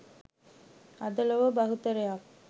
අද ලොව බහුතරයක්